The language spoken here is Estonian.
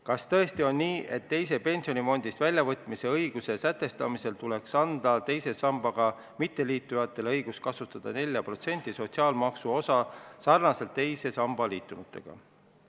Kas tõesti on nii, et raha väljavõtmise õiguse sätestamisel tuleks anda teise sambaga mitteliitujatele õigus kasutada 4% sotsiaalmaksuosa sarnaselt teise sambaga liitunutega?